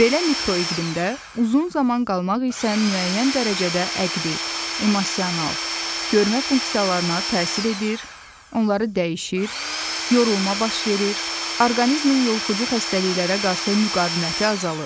Belə mikroiqlimdə uzun zaman qalmaq isə müəyyən dərəcədə əqli, emosional, görmə funksiyalarına təsir edir, onları dəyişir, yorulma baş verir, orqanizmin yoluxucu xəstəliklərə qarşı müqaviməti azalır.